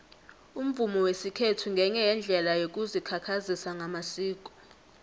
umvumo wesikhethu ngenye yeendlela yokuzikhakhazisa ngamasiko